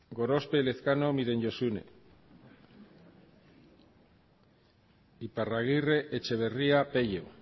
gorospe elezkano miren josune iparragirre etxeberria peio